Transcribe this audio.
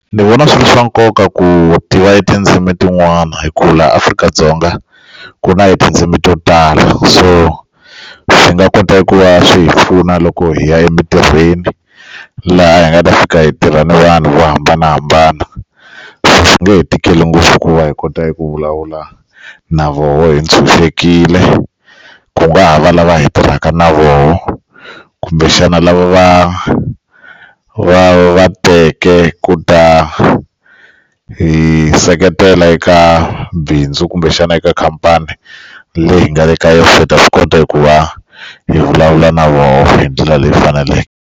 Ndzi vona swi ri swa nkoka ku tiva hi tindzimi tin'wana hi ku la Afrika-Dzonga ku na hi tindzimi to tala so swi nga kota ku va swi hi pfuna loko hi ya emintirhweni laha hi nga ta fika hi tirha na vanhu vo hambanahambana swi nge he tikeli ngopfu ku va hi kota hi ku vulavula na voho hi tshunxekile ku nga ha va lava hi tirhaka na voho kumbexana lava va va va teke ku ta hi seketela eka bindzu kumbexana eka khampani leyi nga le ka yoh se hi ta swi kota eku va hi vulavula na vona hi ndlela leyi faneleke.